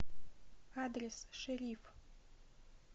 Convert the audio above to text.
адрес шериф